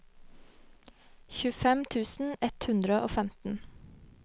tjuefem tusen ett hundre og femten